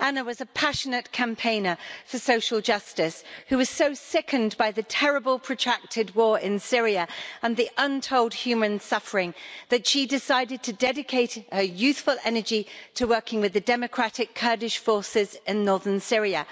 Anna was a passionate campaigner for social justice who was so sickened by the terrible protracted war in Syria and the untold human suffering that she decided to dedicate her youthful energy to working with the democratic Kurdish forces in northern Syria,